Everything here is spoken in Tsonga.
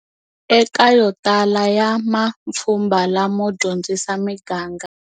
Eka yo tala ya mapfhumba lamo dyondzisa miganga.